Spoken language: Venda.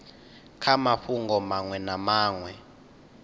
kha mafhungo maṅwe na maṅwe